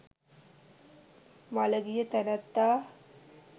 මළගිය තැනැත්තා